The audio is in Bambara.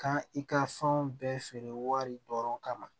Kan i ka fɛnw bɛɛ feere wari dɔrɔn kama